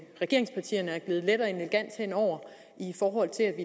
regeringspartierne er gledet let og elegant hen over i forhold til at